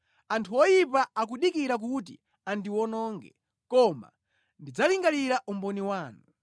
Anthu oyipa akudikira kuti andiwononge, koma ndidzalingalira umboni wanu.